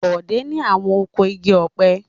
Bọ̀dé ni àwọn oko igi ọ̀pẹ.